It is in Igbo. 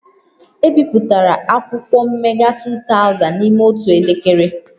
E bipụtara akwụkwọ mmega 2000 n'ime otu elekere